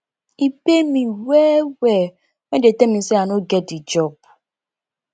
e pain me wellwell wen dem tell me sey i no get di job